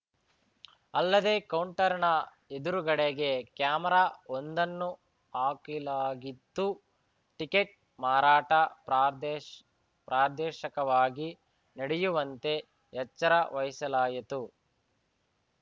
ಅಲ್ಲದೇ ಕೌಂಟರ್‌ನ ಎದುರುಗಡೆಗೆ ಕ್ಯಾಮೆರಾ ಒಂದನ್ನು ಹಾಕಿಲಾಗಿತ್ತು ಟಿಕೆಟ್‌ ಮಾರಾಟ ಪ್ರಾದೇಶ್ ಪ್ರಾದೇಶಿಕವಾಗಿ ನಡೆಯುವಂತೆ ಎಚ್ಚರ ವಹಿಸಲಾಯಿತು